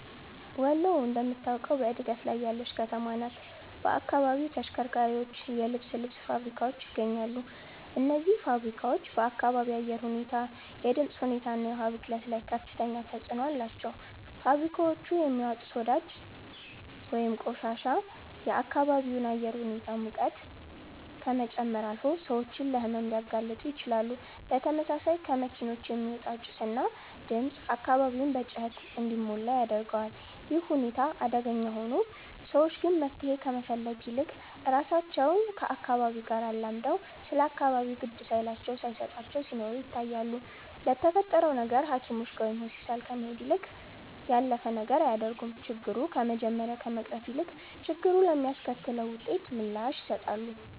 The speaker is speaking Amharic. ወሎ እንደምታውቀው በእድገት ላይ ያለች ከተማ ናት። በአካባቢው ተሽከርካሪዎች፣ የልብስ ልብስ ፋብሪካዎች ይገኛሉ። እነዚህ ፋብሪካዎች በአካባቢ አየር ሁኔታ፣ የድምፅ ሁኔታ እና የውሃ ብክለት ላይ ከፍተኛ ተጽዕኖ አላቸው። ፋብሪካዎቹ የሚያወጡት ወዳጅ ወይንም ቆሻሻ የአካባቢውን አየር ሁኔታ ሙቀት ከመጨመር አልፎ ሰዎችን ለሕመም ሊያጋልጡ ይችላሉ። በተመሳሳይ ከመኪኖች የሚወጣው ጭስ እና ድምፅ አካባቢውን በጩኸት እንዲሞላ ያደርገዋል። ይህ ሁኔታ አደገኛ ሆኖ፣ ሰዎች ግን መፍትሄ ከመፈለግ ይልቅ ራሳቸው ከአካባቢው አላምደው ስለ አካባቢው ግድ ሳይላቸው ሳየሰጣቸው ሲኖሩ ይታያሉ። ለተፈጠረው ነገር ሃኪሞችጋ ወይም ሆስፒታል ከመሄድ ያለፈ ነገር አያደርጉም። ችግሩ ከመጀመሪያ ከመቅረፍ ይልቅ፣ ችግሩ ለሚያስከትለው ውጤት ምላሽ ይሰጣሉ